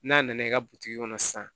N'a nana i ka butigi kɔnɔ sisan